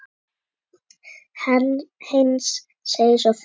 Heinz segir svo frá